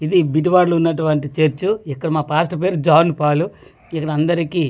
ఇది బీటువాడ్లో ఉన్నటువంటి చర్చు ఇక్కడ మా పాస్ట్ పేరు జాన్ఫాలు ఇక్కడ అందరికీ--